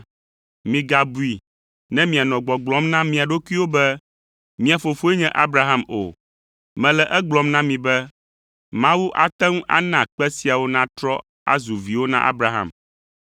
Migabui ne mianɔ gbɔgblɔm na mia ɖokuiwo be, ‘Mía fofoe nye Abraham’ o. Mele egblɔm na mi be Mawu ate ŋu ana kpe siawo natrɔ azu viwo na Abraham.